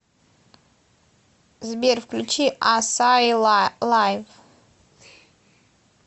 сбер включи ассаи лайв